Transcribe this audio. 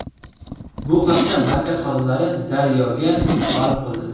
Bu haqda markaz xodimlari Daryo‘ga ma’lum qildi.